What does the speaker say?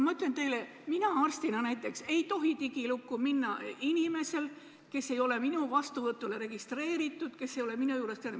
Ma ütlen teile, et näiteks mina arstina ei tohi minna selle inimese digilukku, kes ei ole minu vastuvõtule registreerunud ja kes ei ole minu juures käinud.